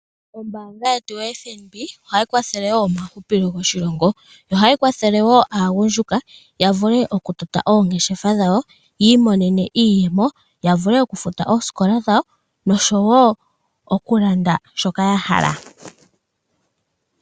Ombaanga yetu yo FNB ohayi kwathele wo omahupilo goshilongo. Ohayi kwathele wo aagundjuka ya vule oku tota oongeshefa dhawo, yi imonene iiyemo, ya vule oku futa oosikola dhawo nosho wo oku landa shoka ya hala.